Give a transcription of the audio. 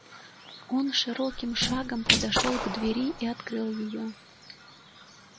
он широким шагом подошёл к двери и открыл её